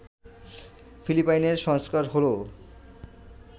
ফিলিপাইনের সংস্কার হল